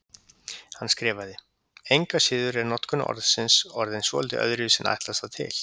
Hann skrifaði: Engu að síður er notkun orðsins orðin svolítið öðruvísi en ætlast var til.